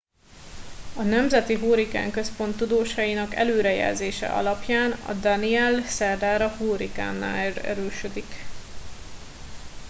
a nemzeti hurrikán központ tudósainak előrejelzése alapján a danielle szerdára hurikánná erősödik